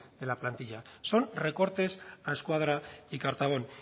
de la plantilla son recortes a escuadra y cartabón